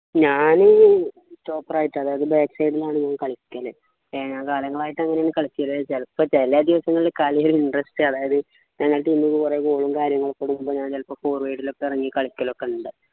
ഞാന് stopper ആയിട്ടാണ് അതായത് backside ലാണ് കളിക്കല് എ കാര്യങ്ങളായിട്ട് അങ്ങനെ കളിക്കല് ചിലപ്പോ ചില ദിവസങ്ങളിൽ കളി ഒരു interest അതായത് ഞങ്ങളെ team ന്നു പറയുന്നതും കാര്യങ്ങളൊക്കെ വരുമ്പോ ഞാൻ ചിലപ്പോ forward ലൊക്കെ ഇറങ്ങി കളിക്കലുണ്ട്